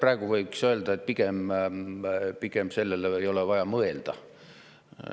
Praegu võiks öelda, et pigem ei ole sellele vaja mõelda.